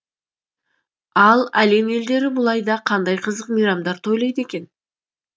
ал әлем елдері бұл айда қандай қызық мейрамдар тойлайды екен